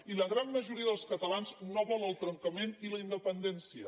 i la gran majoria dels catalans no vol el trencament i la independència